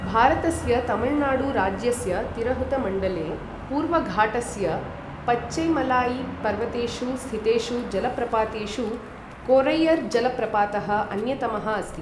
भारतस्य तमिलनाडुराज्यस्य तिरहूतमण्डले पूर्वघाटस्य पचैमलाईपर्वतेषु स्थितेषु जलप्रपातेषु कोरैयरजलप्रपातः अन्यतमः अस्ति ।